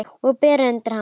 Og bera undir hana.